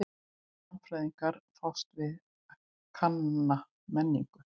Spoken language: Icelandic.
Mannfræðingar fást við kanna menningu.